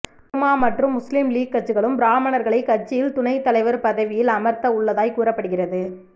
திருமா மற்றும் முஸ்லீம் லீக் கட்சிகளும் ப்ராம்மணர்களை கட்சியில் துணை தலைவர் பதவியில் அமர்த்த உள்ளதாய் கூறப்படுகிறது